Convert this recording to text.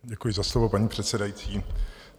Děkuji za slovo, paní předsedající.